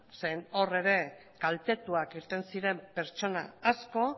zeren hor ere kaltetuak irten ziren pertsona asko